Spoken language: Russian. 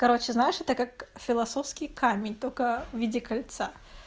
короче знаешь это как философский камень только в виде кольца